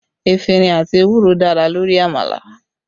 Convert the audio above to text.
Efinrin àti ewúro dára lórí àmàlà